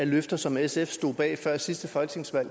løfter som sf stod bag før sidste folketingsvalg